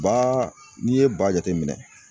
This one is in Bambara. Ba n'i ye ba jateminɛ